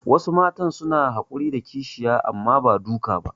Wasu Mata suna hakuri da kishiya amma ba duka ba